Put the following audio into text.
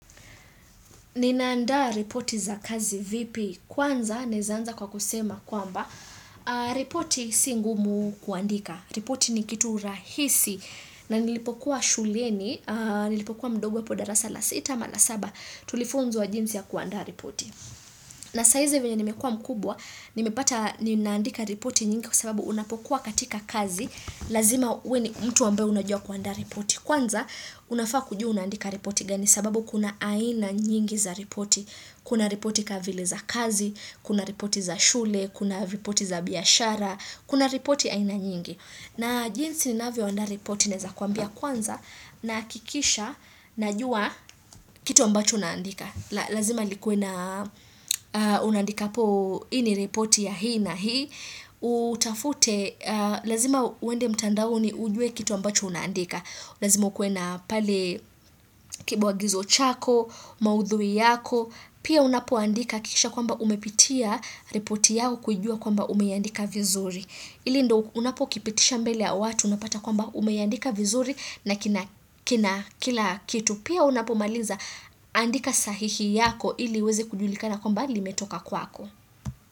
Ninaandaa ripoti za kazi vipi? Kwanza naeza anza kwa kusema kwamba ripoti si ngumu kuandika. Ripoti ni kitu rahisi na nilipokuwa shuleni, nilipokuwa mdogo hapo darasa la sita ama la saba tulifunzwa jinsi ya kuandaa ripoti. Na sahizi vyenye nimekuwa mkubwa, nimepata ninaandika ripoti nyingi kwa sababu unapokuwa katika kazi. Lazima uwe ni mtu ambaye unajua kuandaa ripoti. Kwanza, unafaa kujua unaandika ripoti gani sababu kuna aina nyingi za ripoti. Kuna ripoti ka vile za kazi, kuna ripoti za shule, kuna ripoti za biashara, kuna ripoti aina nyingi. Na jinsi ninavyoandaa ripoti naeza kuambia kwanza nahakikisha najua kitu ambacho naandika. Lazima likue na unandikapo hii ni ripoti ya hii na hii. Utafute, lazima uende mtandaoni ujue kitu ambacho unandika. Lazimo ukuwe na pale kibwagizo chako, maudhui yako, pia unapoandika hakikisha kwamba umepitia ripoti yako kujua kwamba umeandika vizuri. Ili ndo unapo kipitisha mbele ya watu, unapata kwamba umeandika vizuri na kina kina kila kitu. Pia unapo maliza andika sahihi yako ili iweze kujulikana kwamba limetoka kwako.